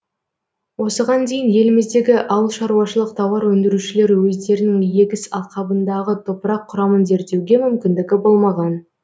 осыған дейін еліміздегі ауылшаруашылық тауар өндірушілері өздерінің егіс алқабындағы топырақ құрамын зерттеуге мүмкіндігі болмаған